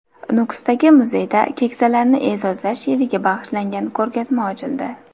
Nukusdagi muzeyda Keksalarni e’zozlash yiliga bag‘ishlangan ko‘rgazma ochildi.